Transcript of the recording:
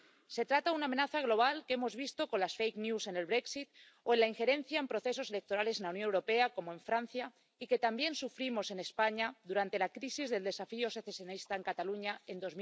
Se trata de una amenaza global que hemos visto con las fake news en el Brexit, o en la injerencia en procesos electorales en la Unión Europea, como en Francia, y que también sufrimos en España durante la crisis del desafío secesionista en Cataluña en